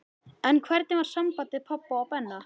En hvernig var samband pabba og Benna?